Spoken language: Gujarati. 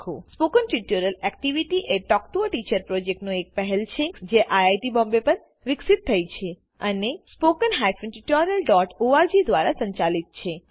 spoken tutorial activity a talk to a teacher પ્રોજેક્ટની એક પહેલ છે જે આઇઆઇટી બોમ્બે પર વિકસિત થઇ છે અને httpspoken tutorialorg દ્વારા સંચાલિત છે